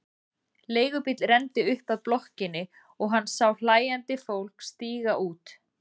Leigubíll renndi upp að blokkinni og hann sá hlæjandi fólk stíga út.